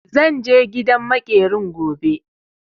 Zan je gidan maƙerin gobe.